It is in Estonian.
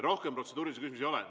Rohkem protseduurilisi küsimusi ei ole.